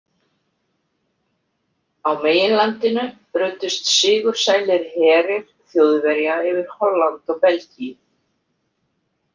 Á meginlandinu ruddust sigursælir herir Þjóðverja yfir Holland og Belgíu.